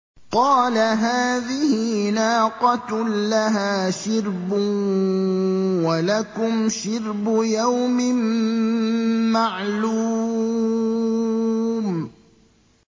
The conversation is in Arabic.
قَالَ هَٰذِهِ نَاقَةٌ لَّهَا شِرْبٌ وَلَكُمْ شِرْبُ يَوْمٍ مَّعْلُومٍ